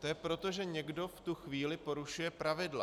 To je proto, že někdo v tu chvíli porušuje pravidla.